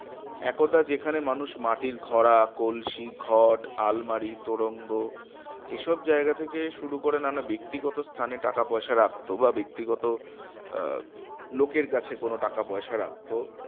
একদা যেখানে মানুষ মাটির ঘড়া কলসি ঘট আলমারি তোরঙ্গ এসব জায়গা থেকে শুরু করে নানা ব্যক্তিগত স্থানে টাকা পয়সা রাখতো বা ব্যক্তিগত আহ লোকের কাছে কোনো টাকা পয়সা রাখতো